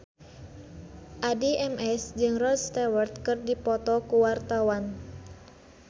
Addie MS jeung Rod Stewart keur dipoto ku wartawan